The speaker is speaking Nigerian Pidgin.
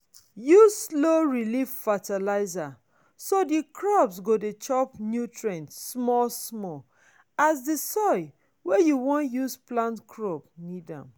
use slow-release fertilizer so the crop go dey chop nutrient small-small as di soil wey you wan use plant crop need am